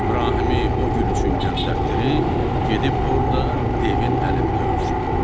İbrahimi o gül üçün göndərtdirim, gedib orda devin əlində ölsün.